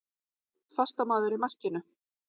Fastamaður í markinu.